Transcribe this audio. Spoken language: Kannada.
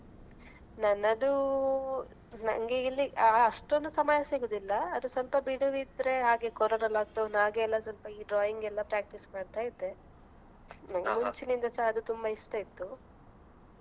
ನನ್ನದು ನಂಗೆ ಇಲ್ಲಿ ಅಷ್ಟೊಂದು ಸಮಯ ಸಿಗುದಿಲ್ಲ ಅದು ಸ್ವಲ್ಪ ಬಿಡುವು ಇದ್ರೆ ಹಾಗೆ ಕೋರೋನಾ lockdown ಆಗೆಲ್ಲ ಸ್ವಲ್ಪ ಈ drawing ಎಲ್ಲ ಸ್ವಲ್ಪ practice ಮಾಡ್ತಾ ಇದ್ದೆ ಮುಂಚಿನಿಂದ ಸಹ ಅದು ತುಂಬ ಇಷ್ಟ ಇತ್ತು.